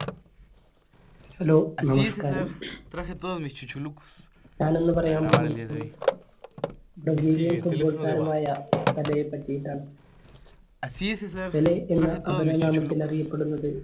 hello നമസ്ക്കാരം ഞാനിന്ന് പറയാൻ പോകുന്നത് Brazilian football താരമായ പെലെയെ പറ്റിയിട്ടാണ്. പെലെ എന്ന അപരനാമത്തിൽ അറിയപ്പെടുന്നത്